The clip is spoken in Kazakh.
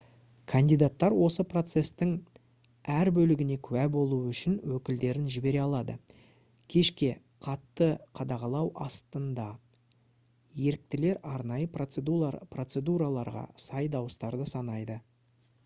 кандидаттар осы процестің әр бөлігіне куә болуы үшін өкілдерін жібере алады кешке қатты қадағалау астында еріктілер арнайы процедураларға сай дауыстарды санайды